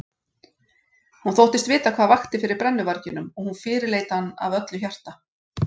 Hún þóttist vita hvað vakti fyrir brennuvarginum og hún fyrirleit hann af öllu hjarta.